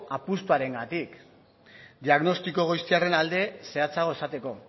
apustuarengatik diagnostiko goiztiarren alde zehatzago esateko